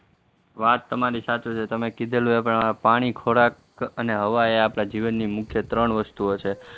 વાત તમારી સાચી છે, તમે કીધેલું પાણી, ખોરાક અને હવા એ આપણા જીવનની ત્રણ મુખ્ય વસ્તુઓ છે.